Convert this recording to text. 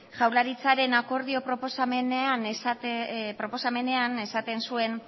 jaurlaritzaren akordio proposamenean esaten zen